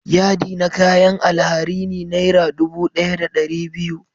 Yadi na kayan alharini naira dubu daya da dari biyu.